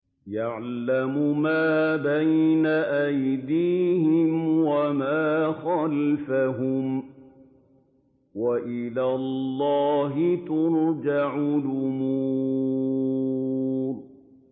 يَعْلَمُ مَا بَيْنَ أَيْدِيهِمْ وَمَا خَلْفَهُمْ ۗ وَإِلَى اللَّهِ تُرْجَعُ الْأُمُورُ